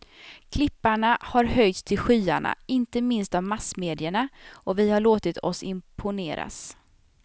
Klipparna har höjts till skyarna, inte minst av massmedierna, och vi har låtit oss imponeras.